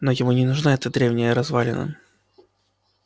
но ему не нужна эта древняя развалина